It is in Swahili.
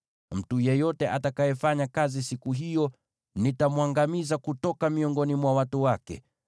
Mtu yeyote atakayefanya kazi siku hiyo nitamwangamiza kutoka miongoni mwa watu wake.